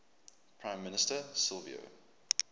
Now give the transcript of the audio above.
prime minister silvio